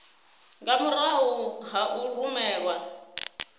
nga murahu ha u rumelwa